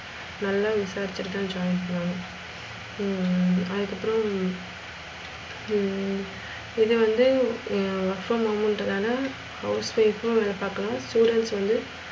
நல்ல விசாரிச்சிட்டு தான் join பண்ணனும் ஹம் அதுக்கு அப்புறம் ஹம் இது வந்து ஹம் work from home இது வந்து house wife வேலை பாக்கணும். students வந்து,